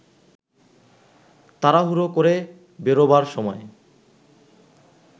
তাড়াহুড়ো করে বেরোবার সময়